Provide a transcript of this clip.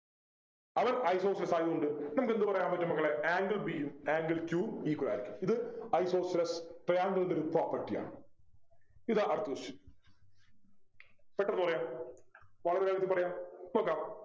അവൻ isosceles ആയത്കൊണ്ട് നമുക്കെന്ത് പറയാൻ പറ്റും മക്കളെ angle b യും angle q യും equal ആയിരിക്കും ഇത് isosceles triangle ൻ്റെ ഒരു property ആണ് ഇതാ അടുത്ത question പെട്ടെന്ന് പറയാ വളരെ വേഗത്തിൽ പറയാം നോക്കാം